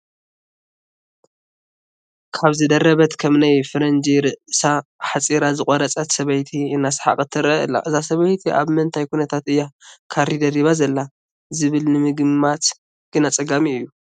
ካባ ዝደረበት፣ ከም ናይ ፈረንጂ ርእሳ ኣሕፂራ ዝቖረፀት፣ ሰበይቲ እናሰሓቐት ትርአ ኣላ፡፡ እዛ ሰበይቲ ኣብ ምንታይ ኩነታት እያ ካሪ ደሪባ ዘላ ዝብል ንምግማት ግን ኣፀጋሚ እዩ፡፡